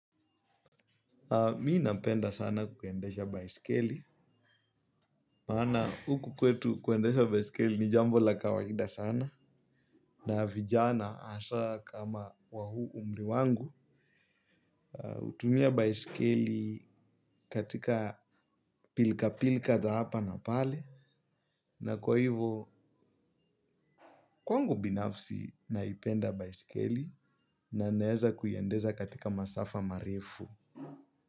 Mi napenda sana kuendesha baiskeli, maana huku kwetu kuendesha baisikeli ni jambo la kawaida sana na vijana hasa kama wa huu umri wangu. Hutumia baiskeli katika pilka pilka za hapa na pale na kwa hivo kwangu binafsi naipenda baisikeli na naeza kuiendeza katika masafa marefu.